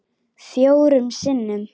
Fjórum sinnum?